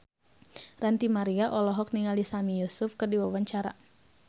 Ranty Maria olohok ningali Sami Yusuf keur diwawancara